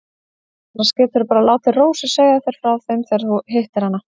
Annars geturðu bara látið Rósu segja þér frá þeim þegar þú hittir hana.